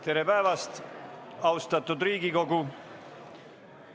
Tere päevast, austatud Riigikogu!